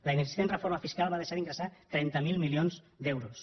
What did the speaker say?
la inexistent reforma fiscal va deixar d’ingressar trenta miler milions d’euros